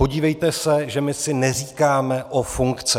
Podívejte se, že my si neříkáme o funkce.